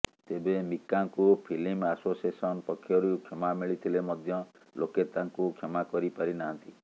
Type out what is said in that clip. ତେବେ ମିକାଙ୍କୁ film association ପକ୍ଷରୁ କ୍ଷମା ମିଳିିଥିଲେ ମଧ୍ୟ ଲୋକେ ତାଙ୍କୁ କ୍ଷମା କରି ପାରି ନାହାନ୍ତି